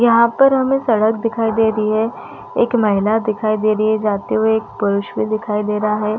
यहाँ पर हमें सड़क दिखाई दे रही है एक महिला दिखाई दे रही है जाते हुए एक पुरुष भी दिखाई दे रहा है।